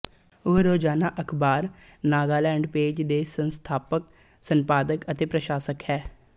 ਉਹ ਰੋਜ਼ਾਨਾ ਅਖ਼ਬਾਰ ਨਾਗਾਲੈਂਡ ਪੇਜ ਦੀ ਸੰਸਥਾਪਕ ਸੰਪਾਦਕ ਅਤੇ ਪ੍ਰਕਾਸ਼ਕ ਹੈ